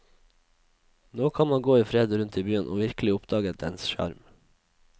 Nå kan man gå i fred rundt i byen og virkelig oppdage dens sjarm.